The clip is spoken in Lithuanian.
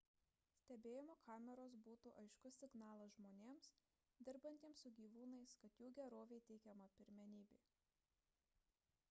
stebėjimo kameros būtų aiškus signalas žmonėms dirbantiems su gyvūnais kad jų gerovei teikiama pirmenybė